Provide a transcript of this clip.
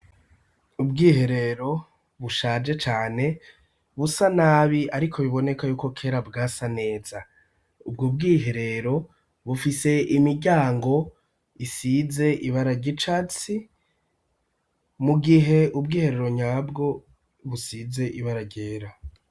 Ubwiherero bushaje cane busa nabi ariko biboneka yuko kera bwasa neza ubwo bwiherero bufise imityango isize ibara ry'icatsi mu gihe ubwiherero nyabwo busize ibara ryera.